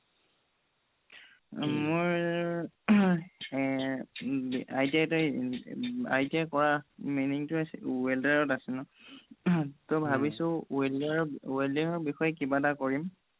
মোৰ ITI কৰা meaning welder ত আছে ন ত ভাবিছো welder ত welding ৰ বিষয়ে কিবা এটা কৰিম